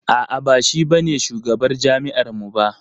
A'a ba shi ba ne shugabar jami'ar mu ba.